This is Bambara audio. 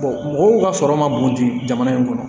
mɔgɔw ka sɔrɔ ma bon jamana in kɔnɔ